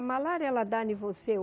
A malária, ela dá em você